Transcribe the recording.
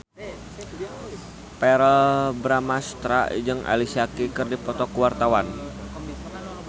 Verrell Bramastra jeung Alicia Keys keur dipoto ku wartawan